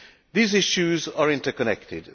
These issues are interconnected.